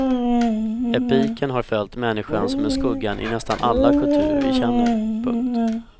Epiken har följt människan som en skugga i nästan alla kulturer vi känner. punkt